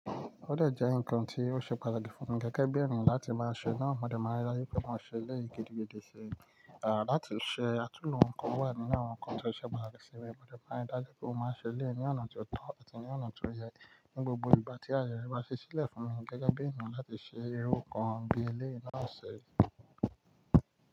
Ó de jẹ́ ǹkan tí ó ṣe pàtàkì fún gẹ́gẹ́ bí ènìyàn láti máa ṣe náà. Amò dé máa rí dájú pé ó máa ṣe ilé gidi, gidi sé. À láti ṣe àtúnhùn ǹkan wà nínú àwọn ǹkan tí ó ṣe pàtàkì sí wa. Òmòdé máa rí dájú pé ó máa ṣe ilé ní ọ̀nà tó tọ́ àti ní ọ̀nà tó yẹ. Ni gbogbo ìgbà tí ayẹyẹ bá ṣí sílẹ̀ fún ni gẹ́gẹ́ bí ènìyàn láti ṣe irú ǹkan bí ilé náà ṣe rí.